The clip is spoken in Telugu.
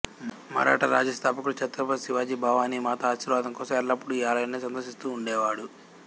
మరాఠా రాజ్య స్థాపకుడు ఛత్రపతి శివాజీ భవానీ మాత ఆశీర్వాదం కోసం ఎల్లప్పుడూ ఈ ఆలయాన్ని సందర్శిస్తుండేవాడు